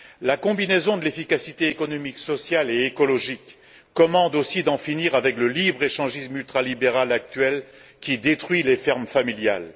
La combinaison de l'efficacité économique, sociale et écologique commande aussi d'en finir avec le libre échange ultralibéral actuel qui détruit les fermes familiales.